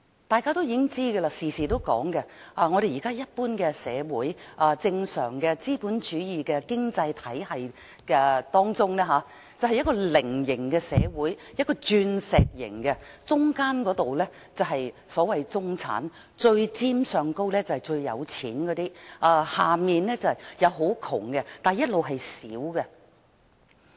大家也知道，亦經常提及，一般正常資本主義經濟體系是呈菱形或鑽石形的社會，中間的是中產，上面最尖的是最富有的人，下面則是最貧窮的人，但亦同樣是最小數。